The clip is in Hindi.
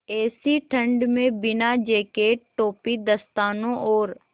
ऐसी ठण्ड में बिना जेकेट टोपी दस्तानों और